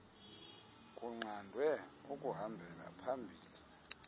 kunqandwe ukuhambela phambili